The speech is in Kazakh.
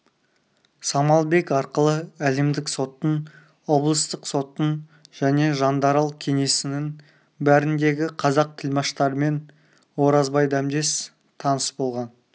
самалбек арқылы әлемдік соттың облыстық соттың және жандарал кеңсесінің бәріндегі қазақ тілмаштарымен оразбай дәмдес таныс болған